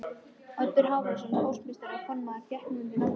Oddur Hávarðarson póstmeistari og formaður gekk nú undir nafninu